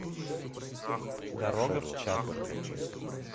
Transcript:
дорога в чат